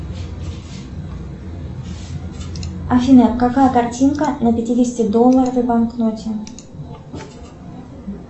афина какая картинка на пятидесяти долларовой банкноте